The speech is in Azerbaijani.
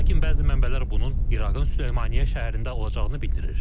Lakin bəzi mənbələr bunun İraqın Süleymaniyyə şəhərində olacağını bildirir.